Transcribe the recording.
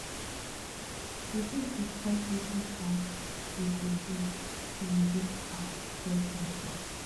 you fit discuss wetin um you go do to resist um peer pressure